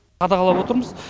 қадағалап отырмыз